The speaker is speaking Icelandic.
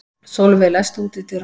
Solveig, læstu útidyrunum.